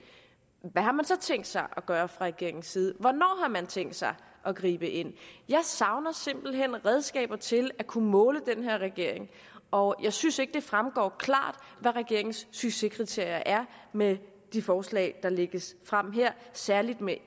hvad har man så tænkt sig at gøre fra regeringens side og hvornår har man tænkt sig at gribe ind jeg savner simpelt hen redskaber til at kunne måle den her regering og jeg synes ikke det fremgår klart hvad regeringens succeskriterier er med de forslag der lægges frem her særlig